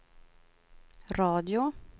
radio